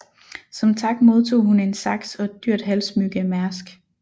Som tak modtog hun en saks og et dyrt halssmykke af Mærsk